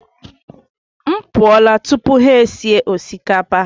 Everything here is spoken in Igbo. M pụọla tupu ha esi osikapa.